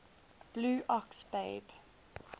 blue ox babe